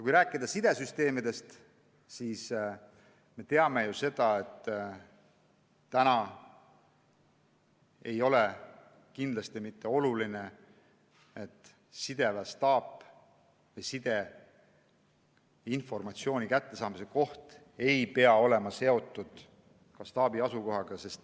Kui rääkida sidesüsteemidest, siis me teame, et praegu ei ole kindlasti mitte oluline, et sideinformatsiooni kättesaamise koht oleks seotud staabi asukohaga.